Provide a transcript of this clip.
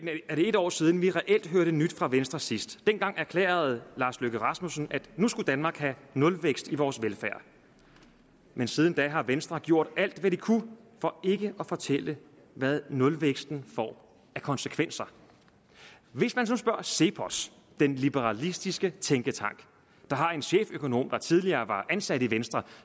er det en år siden vi reelt hørte nyt fra venstre sidst dengang erklærede lars løkke rasmussen at nu skulle danmark have nulvækst i vores velfærd men siden da har venstre gjort alt hvad de kunne for ikke at fortælle hvad nulvæksten får af konsekvenser hvis man så spørger cepos den liberalistiske tænketank der har en cheføkonom der tidligere var ansat i venstre